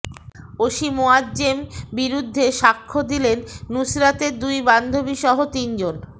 OC Moazzem বিরুদ্ধে সাক্ষ্য দিলেন নুসরাতের দুই বান্ধবীসহ তিনজন